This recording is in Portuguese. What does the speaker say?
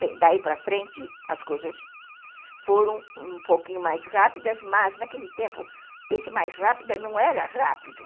Bem, daí para frente, as coisas foram um pouquinho mais rápidas, mas naquele tempo, esse mais rápido não era rápido.